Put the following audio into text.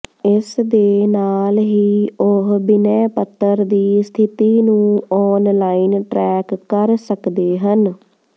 ਇਸ ਦੇ ਨਾਲ ਹੀ ਉਹ ਬਿਨੈਪੱਤਰ ਦੀ ਸਥਿਤੀ ਨੂੰ ਆਨਲਾਈਨ ਟਰੈਕ ਕਰ ਸਕਦੇ ਹਨ